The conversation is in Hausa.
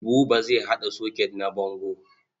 Buba zai haɗa soket na bango.